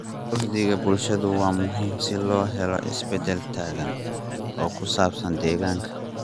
Uhdhigga bulshada waa muhiim si loo helo isbedel togan oo ku saabsan deegaanka.